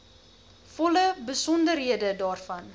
volle besonderhede daarvan